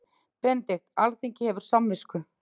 BENEDIKT: Alþingi hefur samvisku.